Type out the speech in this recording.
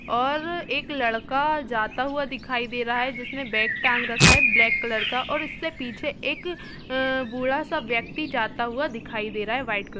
और एक लड़का जाता हुआ दिखाई दे रहा है जिसने बैग टाँग रखा है ब्लैक कलर का और इसके पीछे एक बूढा सा व्यक्ति जाता हुआ दिखाई दे रहा है व्हाइट कलर --